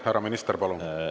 Härra minister, palun!